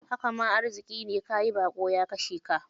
Haka ma arziƙi ne, ka yi baƙo ya kashe ka.